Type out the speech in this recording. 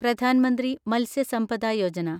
Pradhan Mantri Matsya Sampada Yojana